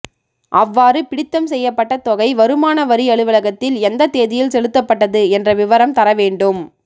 அவ்வாறு பிடித்தம் செய்யப்பட்ட தொகை வருமான வரி அலுவலகத்தில் எந்த தேதியில் செலுத்தப்பட்டது என்ற விவரம் தர வேண்டும்